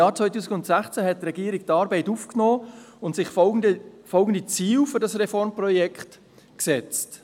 Im Jahr 2016 hat die Regierung die Arbeit aufgenommen und sich folgende Ziele für dieses Reformprojekt gesetzt: